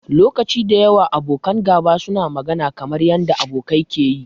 Lokaci da yawa, abokan gaba suna magana kamar yanda abokai ke yi.